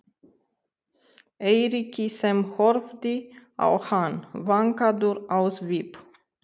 Eiríki sem horfði á hann, vankaður á svip.